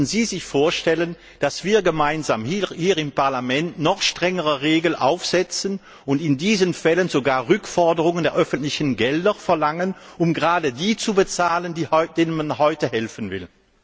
Könnten Sie sich vorstellen, dass wir gemeinsam hier im Parlament noch strengere Regeln aufstellen, und in diesen Fällen sogar Rückforderungen der öffentlichen Gelder erheben, um gerade die zu bezahlen, denen man heute helfen will?